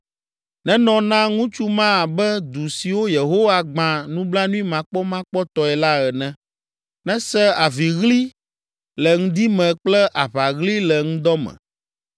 Nenɔ na ŋutsu ma abe du siwo Yehowa gbã nublanuimakpɔmakpɔtɔe la ene. Nese aviɣli le ŋdi me kple aʋaɣli le ŋdɔ me,